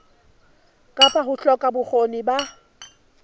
kapa ho hloka bokgoni ba